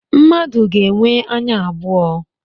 Mmadụ ga-enwe anya abụọ